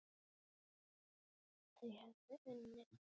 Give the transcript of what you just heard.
Þau höfðu unnið.